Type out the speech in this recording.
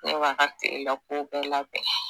Ne b'a ka kilelakow bɛɛ labɛn.